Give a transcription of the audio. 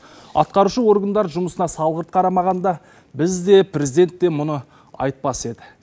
атқарушы органдар жұмысына салғырт қарамағанда біз де президент те мұны айтпас еді